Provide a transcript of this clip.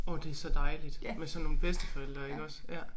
Åh det så dejligt med sådan nogle bedsteforældre iggås ja